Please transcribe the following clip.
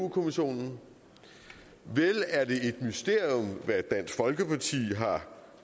kommissionen vel er det også et mysterium hvad dansk folkeparti har